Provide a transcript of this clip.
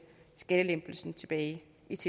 ved